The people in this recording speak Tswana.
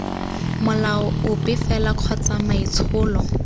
molao ope fela kgotsa maitsholo